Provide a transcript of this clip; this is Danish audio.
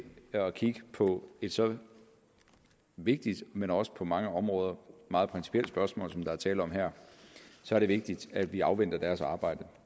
at kigge på et så vigtigt men også på mange områder meget principielt spørgsmål som der er tale om her er det vigtigt at vi afventer deres arbejde